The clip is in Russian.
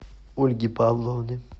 ольги павловны